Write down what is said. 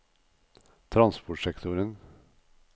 transportsektoren